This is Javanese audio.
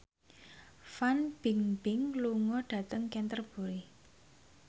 Fan Bingbing lunga dhateng Canterbury